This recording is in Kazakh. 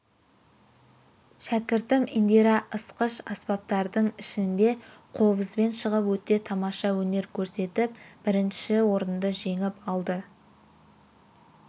шәкіртім индира ысқыш аспаптардың ішінде қобызбен шығып өте тамаша өнер көрсетіп бірінші орынды жеңіп алды